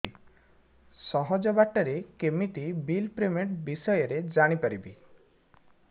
ସହଜ ବାଟ ରେ କେମିତି ବିଲ୍ ପେମେଣ୍ଟ ବିଷୟ ରେ ଜାଣି ପାରିବି